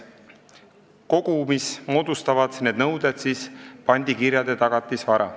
Kogumis moodustavad need nõuded pandikirjade tagatisvara.